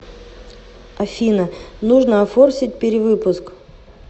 афина нужно офорсить перевыпуск